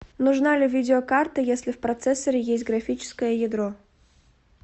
нужна ли видеокарта если в процессоре есть графическое ядро